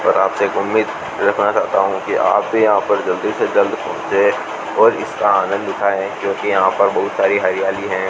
और आपसे एक उम्मीद रखना चाहता हूं कि आप भी यहां पर जल्दी से जल्द पहुंचे और इसका आनंद उठाएं क्योंकि यहां पर बहुत सारी हरियाली है।